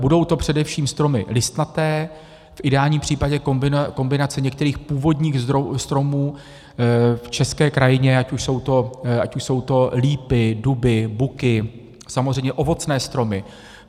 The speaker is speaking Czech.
Budou to především stromy listnaté, v ideální případě kombinace některých původních stromů v české krajině, ať už jsou to lípy, duby, buky, samozřejmě ovocné stromy.